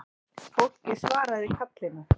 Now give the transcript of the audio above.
Fólkið svaraði kallinu